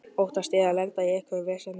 Óttaðist ég að lenda í einhverju veseni?